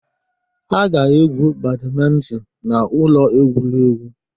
Ha ga-egwu badmintin na ụlọ egwuregwu.